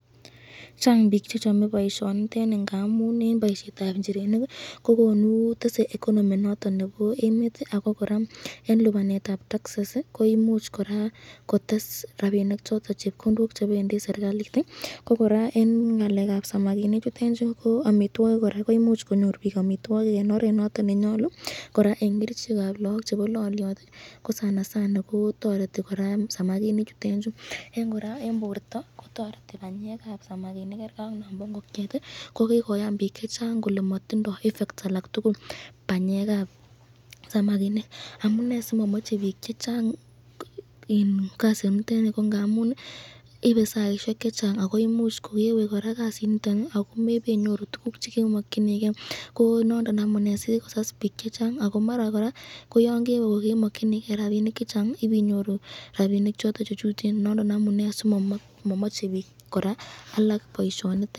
Chang bik chechang boisyoniteni ngamun, eng boisyetab inchirenik ii kotesr economy noton nebo emet ii ako koraa eng lipanetab taxes ii koimuch koraa kotes rapinik choton chepkondok chebendi serikalit ,ko koraa eng ngalekab samakinik chutenchu ko amitwokik koraa, koimuch konyor bik amitwokik eng oret nondon nenyalu, koraa eng kerichekab lagok chebo lolyot ii, ko toreti koraa samakinik chuton eng koraa eng borta kororeti banyekab samakinik ,kerge ak mambo ingokyet ,kokikoyan bik kole matindo effect ake tukul banyekab samakinik.